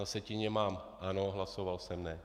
Na sjetině mám ano, hlasoval jsem ne.